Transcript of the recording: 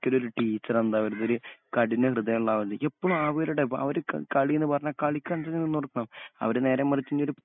ക്കലൊരു ടീച്ചറെന്താ കഠിന ഹൃദയോള്ളാവരുത് ഇപ്പള് ആവര്ടെ വ അവര്ക്ക് കളിന്ന് പറഞ്ഞാ കളികണ്ടേന് നിന്നോട്ക്കണം അവര് നേരെ മറിച്ചിന്നൊരു